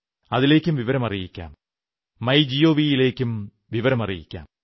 അതിലേക്കും വിവരമറിയിക്കാം മൈഗവ് ലേക്കുമയയ്ക്കാം